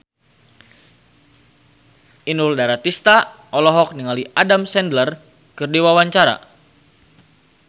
Inul Daratista olohok ningali Adam Sandler keur diwawancara